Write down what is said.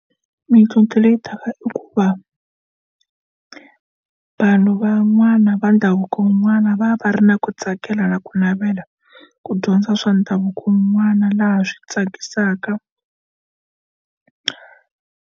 Mintlhontlho leyi taka i ku va vanhu van'wana va ndhavuko n'wana va va ri na ku tsakela na ku navela ku dyondza swa ndhavuko n'wana laha swi tsakisaka.